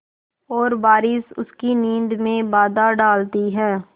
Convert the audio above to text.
और बारिश उसकी नींद में बाधा डालती है